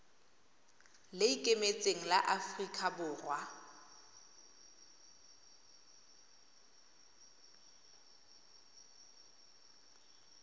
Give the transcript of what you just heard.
le ikemetseng la aforika borwa